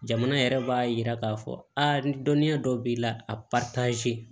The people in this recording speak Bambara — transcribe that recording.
Jamana yɛrɛ b'a yira k'a fɔ ni dɔnniya dɔ b'i la a